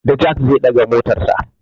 Da jak zai ɗaga motarsa.